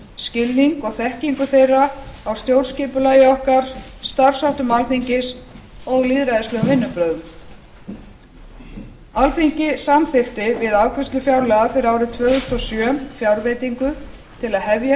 skilning og þekkingu þeirra á stjórnskipulagi okkar starfsháttum alþingis og lýðræðislegum vinnubrögðum alþingi samþykkti við afgreiðslu fjárlaga fyrir árið tvö þúsund og sjö fjárveitingu til að hefja